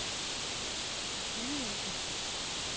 sygehuse